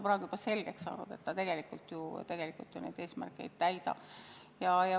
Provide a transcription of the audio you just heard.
Praegu on selgeks saanud, et see tegelikult eesmärke ei täida.